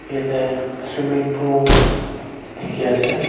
yate swimming pool dikhi ase.